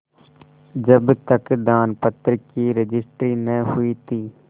जब तक दानपत्र की रजिस्ट्री न हुई थी